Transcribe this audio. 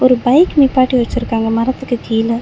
ஒரு பைக் நிப்பாட்டி வச்சுருக்காங்க மரத்துக்கு கீழ.